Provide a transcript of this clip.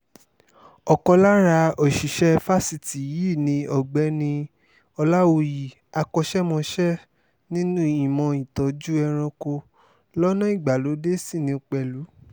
ọ̀kan lára òṣìṣẹ́ fásitì yìí ni ọ̀gbẹ́ni ọ̀làwúyí akọ́ṣẹ́mọṣẹ́ nínú ìmọ̀ ìtọ́jú ẹranko lọ́nà ìgbàlódé sì ní pẹ̀lú